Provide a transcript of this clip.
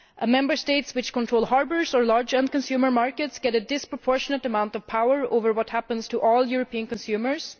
Member States which control harbours or large end consumer markets get a disproportionate amount of power over what happens to all European consumers.